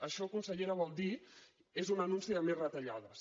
això consellera vol dir és un anunci de més retallades